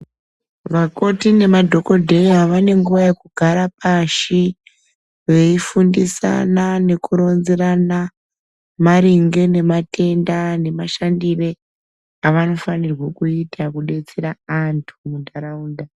Vakoti ne ma dhokodheya vane nguva yeku gara pashi veyi fundisana neku ronzerana maringe ne matenda ne mashandire avano fanirwa kuita kudetsera vantu mu ndaraunda.